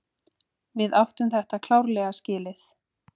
Við áttum þetta klárlega skilið.